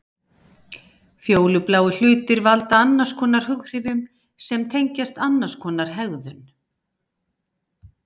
Fjólubláir hlutir valda annarskonar hughrifum sem tengjast annarskonar hegðun.